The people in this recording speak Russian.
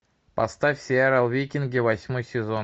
поставь сериал викинги восьмой сезон